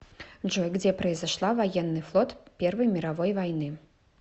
джой где произошла военный флот первой мировой войны